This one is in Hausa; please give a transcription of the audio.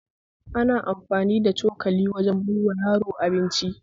Ana amfani da cokali wajen baiwa yaro abinci